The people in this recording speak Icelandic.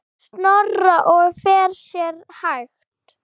Snorra og fer sér hægt.